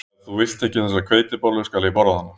Ef þú vilt ekki þessa hveitibollu skal ég borða hana